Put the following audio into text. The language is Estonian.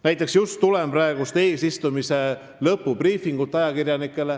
Näiteks tulen ma just praegu ajakirjanikele korraldatud eesistumise lõpubriifingult.